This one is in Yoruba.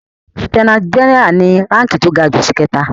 Lieutenant general ni ránki tí ó ga jù ṣìkẹta.